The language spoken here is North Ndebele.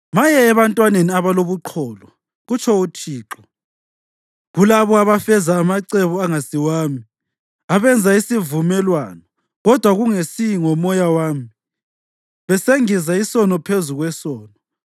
“Maye ebantwaneni abalobuqholo,” kutsho uThixo, “kulabo abafeza amacebo angasiwami, abenza isivumelwano, kodwa kungesi ngoMoya wami, besengeza isono phezu kwesono;